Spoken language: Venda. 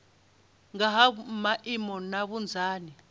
nga ha maimo na vhunzani